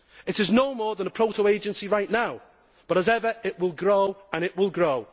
It is no more than a proto agency right now but, as ever, it will grow and it will grow.